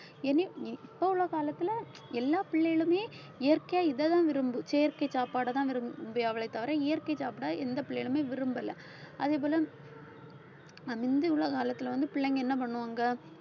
இனி அஹ் இப்போ உள்ள காலத்திலே எல்லா பிள்ளைகளுமே இயற்கையா இதைதான் விரும்பும் செயற்கை சாப்பாடைதான் விரும்புவங்களே தவிர இயற்கை சாப்பிட எந்த பிள்ளைகளுமே விரும்பல அதேபோல முந்தி உள்ள காலத்துல வந்து பிள்ளைங்க என்ன பண்ணுவாங்க